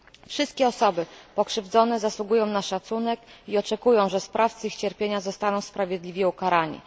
Wszystkie osoby pokrzywdzone zasługują na szacunek i oczekują, że sprawcy ich cierpienia zostaną sprawiedliwie ukarani.